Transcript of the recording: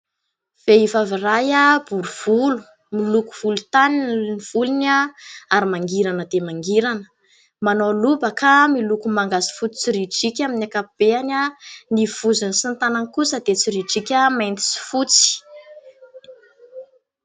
Vehivavy iray bory volo, miloko volontany ny volony ary mangirana dia mangirana, manao lobaka miloko manga sy fotsy tsoridrika amin'ny ankapobeny. Ny vozony sy ny tanany kosa dia tsoridrika mainty sy fotsy.